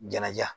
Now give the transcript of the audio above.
Ɲɛnajɛ